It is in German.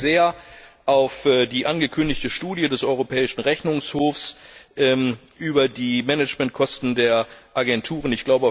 Ich freue mich sehr auf die angekündigte Studie des Europäischen Rechnungshofs über die Managementkosten der Agenturen.